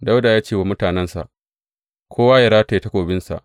Dawuda ya ce wa mutanensa, Kowa yă rataya takobinsa.